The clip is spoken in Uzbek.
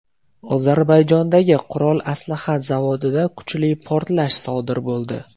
Ozarbayjondagi qurol-aslaha zavodida kuchli portlash sodir bo‘ldi.